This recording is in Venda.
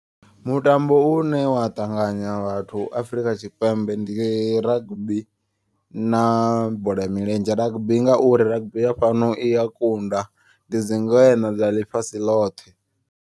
Mutambo une wa ṱanganya vhathu Afrika Tshipembe ndi rugby na bola ya milenzhe. Rugby ngauri rugby ya fhano iya kunda ndi dzi ngweṋa dza ḽifhasi ḽothe.